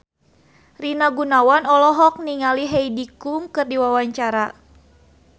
Rina Gunawan olohok ningali Heidi Klum keur diwawancara